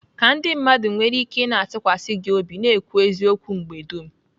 Ka ndị mmadụ nwere ike ị na-atụkwasị gị obi, na-ekwu eziokwu mgbe dum.